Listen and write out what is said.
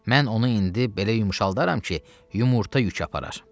Mən onu indi belə yumşaldaram ki, yumurta yük aparar.